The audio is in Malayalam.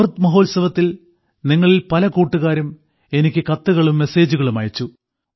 അമൃത് മഹോത്സവത്തിൽ നിങ്ങളിൽ പല കൂട്ടുകാരും എനിക്ക് കത്തുകളും മെസ്സേജുകളും അയച്ചു